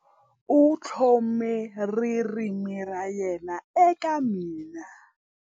U tlhome ririmi ra yena eka mina.